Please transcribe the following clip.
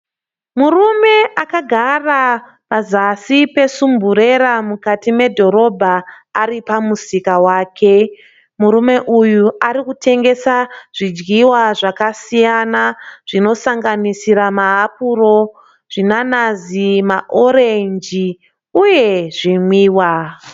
Murume akagara pazasi pesumburera mukati mudhorobha ari pamusika wake. Murume uyu ari kutengesa zvidyiwa zvakasiyana zvinosanganisira maapuro zvinanazi, maorenji uye zvimwiwa.